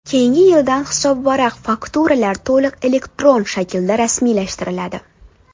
Keyingi yildan hisobvaraq-fakturalar to‘liq elektron shaklda rasmiylashtiriladi.